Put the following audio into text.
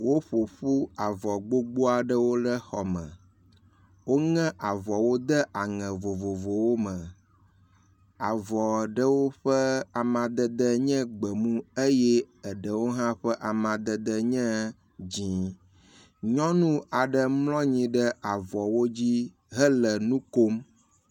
Woƒoƒu avɔ gbogbo aɖewo ɖe xɔme. Woŋe avɔawo de aŋe vovovowo me, avɔa ɖewo ƒe amadedewo nye gbemu eye eɖewo hã ƒe amadede nye dzɛ̃. Nyɔnu aɖe mlɔ anyi avɔwo dzi hele nu kom.